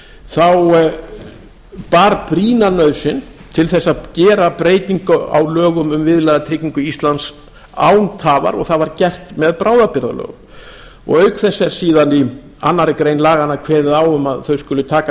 þá bar brýna nauðsyn til að gera breytingu á lögum um viðlagatryggingu íslands án tafar og það var gert með bráðabirgðalögum auk þess er síðan í annarri grein laganna kveðið á um að þau skuli taka